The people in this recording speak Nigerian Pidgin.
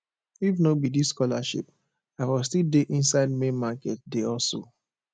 if no be dis scholarship i for still dey inside main market dey hustle